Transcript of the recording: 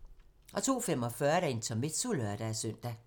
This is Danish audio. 02:45: Intermezzo (lør-søn)